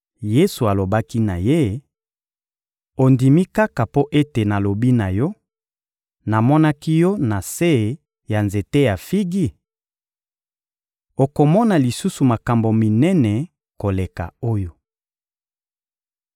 Yesu alobaki na ye: — Ondimi kaka mpo ete nalobi na yo: Namonaki yo na se ya nzete ya figi? Okomona lisusu makambo minene koleka oyo.